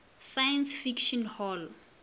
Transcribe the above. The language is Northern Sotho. science fiction hall